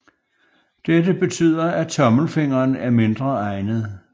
Dette betyder at tommelfingeren er mindre egnet